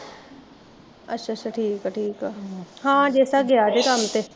ਅੱਛਾ ਅੱਛਾ ਠੀਕ ਐ ਠੀਕ ਆ ਐ, ਹਾਂ ਜੱਸਾ ਗਿਆ ਐ ਕੰਮ ਤੇ